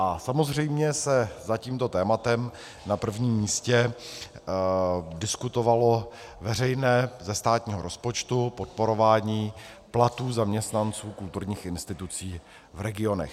A samozřejmě se za tímto tématem na prvním místě diskutovalo veřejné, ze státního rozpočtu, podporování platů zaměstnanců kulturních institucí v regionech.